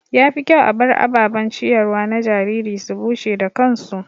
Ya fi kyau a bar ababen ciyarwa na jariri su bushe da kansu.